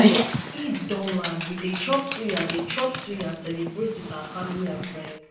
eid don land we dey chop suya dey chop suya and celebrate with our family and friends